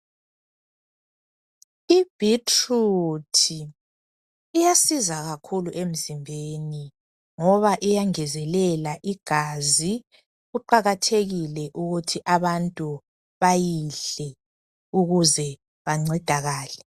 Ibhitruthi iyasiza kakhulu emzimbeni ngoba iyangezelela igazi. Kuqakathekile ukuthi abantu bayidle ukuze bancedakale.